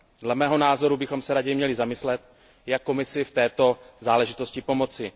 Dle mého názoru bychom se raději měli zamyslet, jak Komisi v této záležitosti pomoci.